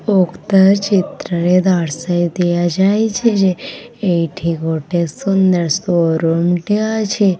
ଉକ୍ତ ଚିତ୍ରରେ ଦର୍ଶାଇ ଦିଆଯାଇଛି ଯେ ଏଇଠି ଗୋଟେ ସୁନ୍ଦର ସୋ ରୁମ୍ ଟେ ଅଛି।